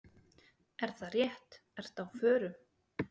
Er það rétt, ertu á förum?